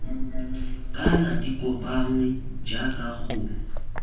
kana di kopanngwe jaaka go